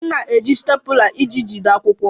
M na-eji stapler iji jide akwụkwọ